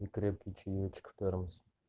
и крепкий чаёчек в термос